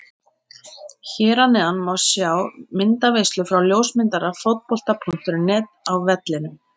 Hér að neðan má sjá myndaveislu frá ljósmyndara Fótbolta.net á vellinum.